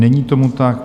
Není tomu tak.